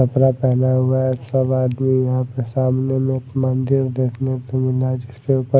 कपड़ा पहना हुआ है सब आदमी यहां पर सामने में एक मंदिर देखने ।